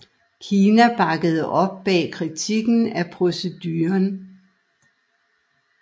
Kina bakkede op bag kritikken af proceduren